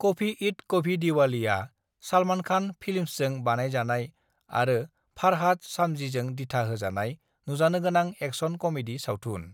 कभी ईद कभी दीवाली'आ सालमान खान फिल्म्सजों बानायजानाय आरो फारहाद सामजीजों दिथा होजानाय नुजानोगोनां एक्शन कमेडि सावथुन।